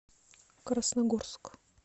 красногорск